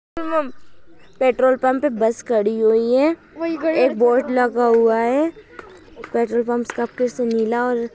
Petrol pump पे bus खड़ी हुई है। एक बोर्ड लगा हुआ हैं। पेट्रोल पंप ऊपर से नीला और--